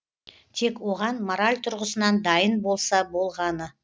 тек оған мораль тұрғысынан дайын болса болғаны